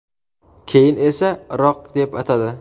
keyin esa Iroq deb atadi.